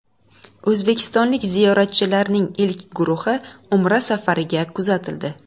O‘zbekistonlik ziyoratchilarning ilk guruhi Umra safariga kuzatildi.